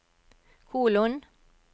kolon